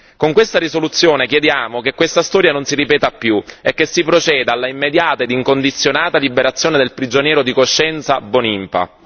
Con questa risoluzione chiediamo che questa storia non si ripeta più e che si proceda all'immediata ed incondizionata liberazione del prigioniero di coscienza Mbonimpa.